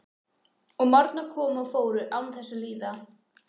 Og morgnar komu og fóru án þess að líða.